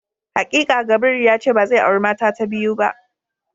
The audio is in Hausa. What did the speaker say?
Hakika Gabriel yace bazai auri mata ta biyu ba.